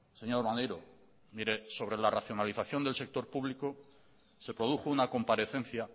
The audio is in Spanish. señor maneiro mire sobre la racionalización del sector público se produjo una comparecencia